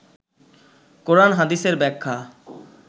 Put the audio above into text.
কোরান হাদিসের ব্যাখ্যা